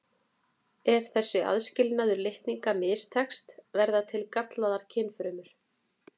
Ef þessi aðskilnaður litninga mistekst verða til gallaðar kynfrumur.